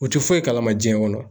U te foyi kalama jiɲɛ kɔnɔ.